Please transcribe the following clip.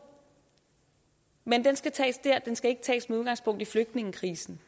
men den skal tages der den skal ikke tages med udgangspunkt i flygtningekrisen